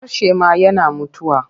Harshe ma yana mutuwa.